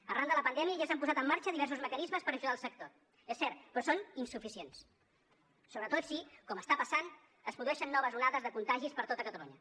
arran de la pandèmia ja s’han posat en marxa diversos mecanismes per ajudar el sector és cert però són insuficients sobretot si com està passant es produeixen noves onades de contagis per tota catalunya